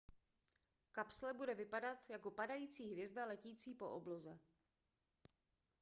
kapsle bude vypadat jako padající hvězda letící po obloze